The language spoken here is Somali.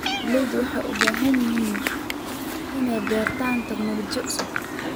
Beeraleydu waxay u baahan yihiin inay bartaan teknoolojiyadda cusub.